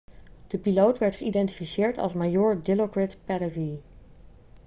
de piloot werd geïdentificeerd als majoor dilokrit pattavee